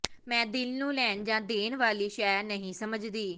ਮੈਂ ਦਿਲ ਨੂੰ ਲੈਣ ਜਾਂ ਦੇਣ ਵਾਲੀ ਸ਼ੈ ਨਹੀਂ ਸਮਝਦੀ